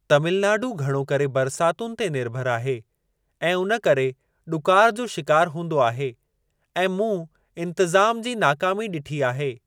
तमिलनाडू घणो करे बरसातुनि ते निर्भर आहे ऐं उन करे ॾुकार जो शिकारु हूंदो आहे ऐं मूं इंतिज़ाम जी नाकामी ॾिठी आहे।